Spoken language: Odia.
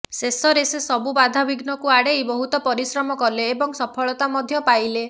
ଶେଷରେ ସେ ସବୁ ବାଧା ବୀଘ୍ନକୁ ଆଡେ଼ଇ ବହୁତ ପରିଶ୍ରମ କଲେ ଏବଂ ସଫଳତା ମଧ୍ୟ ପାଇଲେ